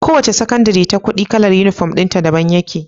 Kowace sakandari ta kudi kalar inufom dinta daban yake